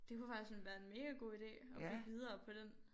Det kunne faktisk sådan være en mega god ide at bygge videre på den